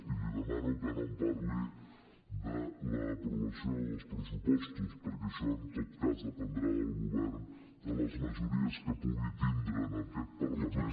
i li demano que no em parli de l’aprovació dels pressupostos perquè això en tot cas dependrà del govern de les majories que pugui tindre en aquest parlament